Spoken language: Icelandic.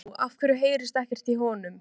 Hvað er nú, af hverju heyrist ekkert í honum?